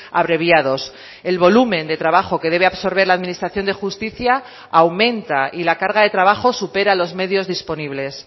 abreviados el volumen de trabajo que debe absorber la administración de justicia aumenta y la carga de trabajo supera los medios disponibles